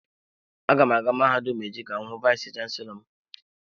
Aga m aga mahadum echi ka m hu vayis chansilọ m.